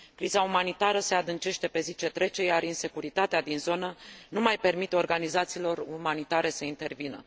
Criza umanitară se adâncește pe zi ce trece, iar insecuritatea din zonă nu mai permite organizațiilor umanitare să intervină.